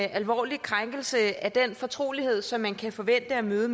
en alvorlig krænkelse af den fortrolighed som man kan forvente at møde